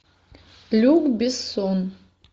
люк бессон